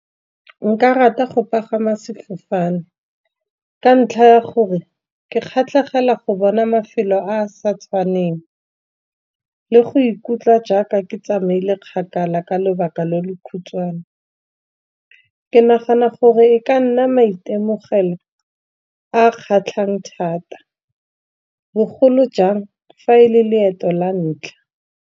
Nka rata go pagama sefofane, ka ntlha ya gore ke kgatlhegela go bona mafelo a a sa tshwaneng. Le go ikutlwa jaaka ke tsamaile kgakala ka lobaka lo lo khutshwane. Ke nagana gore e ka nna maitemogelo a kgatlhang thata bogolo jang fa e le leeto la ntlha.